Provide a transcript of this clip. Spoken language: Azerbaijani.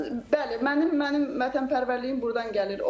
Bəli, mənim mənim vətənpərvərliyim burdan gəlir.